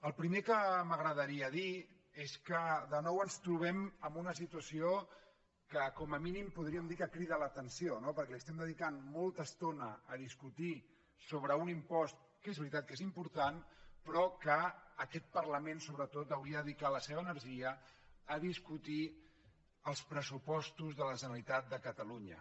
el primer que m’agradaria dir és que de nou ens trobem en una situació que com a mínim podríem dir que crida l’atenció no perquè li estem dedicant molta estona a discutir sobre un impost que és veritat que és important però que aquest parlament sobretot hauria de dedicar la seva energia a discutir els pressupostos de la generalitat de catalunya